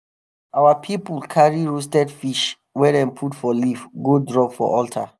our people carry roasted fish wey dem put for leaf go drop for altar.